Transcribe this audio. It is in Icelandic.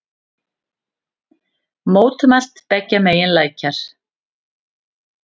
Mótmælt beggja megin lækjar